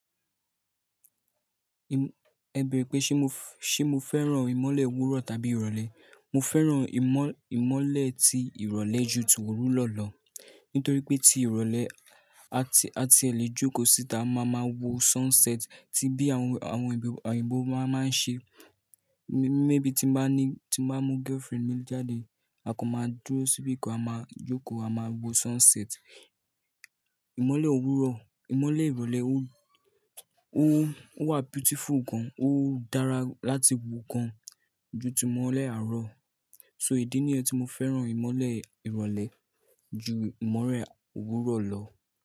Ẹ bere pé, ṣe mó ṣe mó fẹ́ràn ìmọ́lẹ̀ òwúrọ̀ tàbí ìrọ̀lẹ́? Mo fẹ́ràn ìmọ́-ìmọ́lẹ̀ ti ìrọ̀lẹ́ ju ti òwúrọ̀ lọ. Nítorí pé ti ìrọ̀lẹ́, a ti, a ti ẹ lè jókòó síta, a máa máa wo sunset tí bí àwọn, àwọn òyìnbó máa ń ṣe. Maybei tí mbá ní, tí mbá mú girlfriend mi jáde, a kan máa dúró síbì kan, a máa jókòó, a máa wo sunset. Ìmọ́lẹ̀ òwúrọ̀, ìmọ́lẹ̀ ìrọ̀lẹ́ ó, ó, ó wà beautiful gan, ó dára láti wò gan ju ti ìmọ́lẹ̀ àárọ̀. So idí ni yen tí mo fẹ́ràn ìmọ́lẹ̀ ìrọ̀lẹ́ ju ìmọ́lẹ̀ òwúrọ̀ lọ.